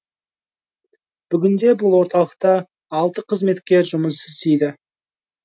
бүгінде бұл орталықта алты қызметкер жұмыс істейді